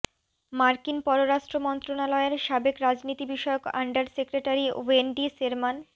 মার্কিন পররাষ্ট্র মন্ত্রণালয়ের সাবেক রাজনীতি বিষয়ক আন্ডার সেক্রেটারি ওয়েন্ডি শেরমান